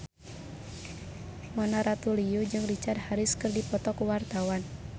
Mona Ratuliu jeung Richard Harris keur dipoto ku wartawan